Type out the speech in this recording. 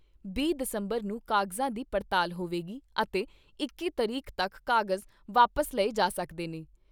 ਦਸ ਦਸੰਬਰ ਨੂੰ ਕਾਗਜ਼ਾਂ ਦੀ ਪੜਤਾਲ ਹੋਵੇਗੀ ਅਤੇ ਇੱਕੀ ਤਰੀਕ ਤੱਕ ਕਾਗਜ਼ ਵਾਪਸ ਲਏ ਜਾ ਸਕਦੇ ਨੇ।